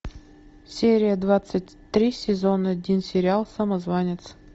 серия двадцать три сезон один сериал самозванец